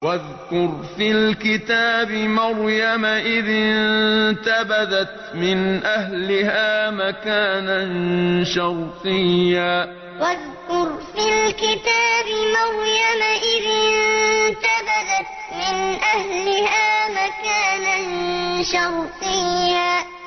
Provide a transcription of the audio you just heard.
وَاذْكُرْ فِي الْكِتَابِ مَرْيَمَ إِذِ انتَبَذَتْ مِنْ أَهْلِهَا مَكَانًا شَرْقِيًّا وَاذْكُرْ فِي الْكِتَابِ مَرْيَمَ إِذِ انتَبَذَتْ مِنْ أَهْلِهَا مَكَانًا شَرْقِيًّا